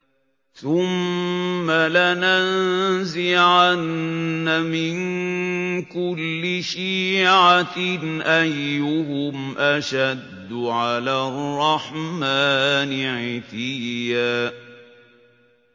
ثُمَّ لَنَنزِعَنَّ مِن كُلِّ شِيعَةٍ أَيُّهُمْ أَشَدُّ عَلَى الرَّحْمَٰنِ عِتِيًّا